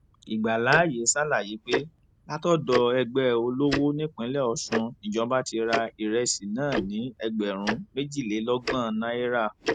ìgbàlàyé ṣàlàyé pé látọdọ ẹgbẹ olówó nípínlẹ ọsùn nìjọba ti ra ìrẹsì náà ní ẹgbẹrún méjìlélọgbọn náírà